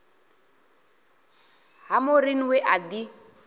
ha maureen we a ḓi